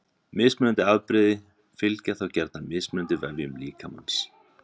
Mismunandi afbrigði fylgja þá gjarnan mismunandi vefjum líkamans.